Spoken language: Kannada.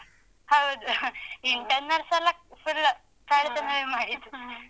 ಹೌದು internals ಎಲ್ಲ full ಕಳ್ಳತನವೇ ಮಾಡಿದ್ದು